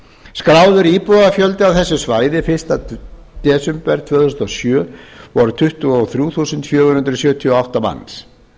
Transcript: skráður íbúafjöldi á þessu svæði fyrsta desember tvö þúsund og sjö var tuttugu og þrjú þúsund fjögur hundruð sjötíu og átta manns